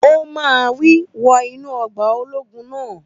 Ó máa wí! Wọ inú ọgbà ológun náà